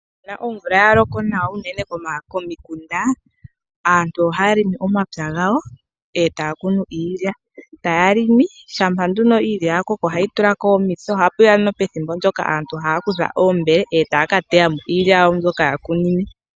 Shampa omvula ya loko nawa unene komikunda, aantu oha ya longo omapya gawo eta ya kunu iilya, taya longo shampa nduno iilya yakoko oha yi tulako omitse oha puya noho pethimbo ndoka aantu haya kutha oombele etaya ka teyako iilya yawo mbyoka yakunine.